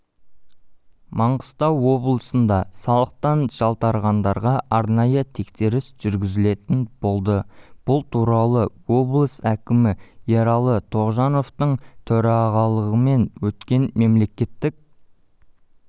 маңғыстау облысында салықтан жалтарғандарға арнайы тексеріс жүргізілетін болады бұл туралы облысәкімі ералы тоғжановтың төрағалығымен өткен мемлекеттік